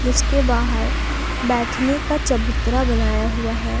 जिसके बाहर बैठने का चबूतरा बनाया हुआ है।